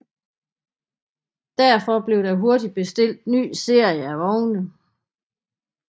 Derfor blev der hurtigt bestilt nye serier af vogne